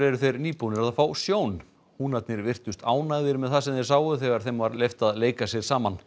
þeir eru nýbúnir að fá sjón húnarnir virtust ánægðir með það sem þeir sáu þegar þeim var leyft að leika sér saman